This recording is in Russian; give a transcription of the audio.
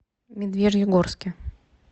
медвежьегорске